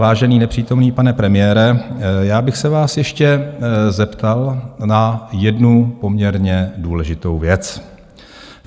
Vážený nepřítomný pane premiére, já bych se vás ještě zeptal na jednu poměrně důležitou věc.